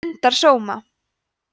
stundar sóma